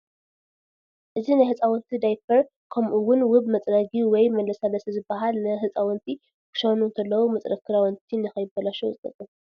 እዚ ናይ ሕፃውንት ዳይቨር ከምኡ እውን ውብ መፅረግ ወይ መላሳሊሲ ዝበሃል ንሕፃውንት ክሸኑ እንተለው መፅረግ ክዳውን ቲ ንከይበላሸው ዝጠቅ ።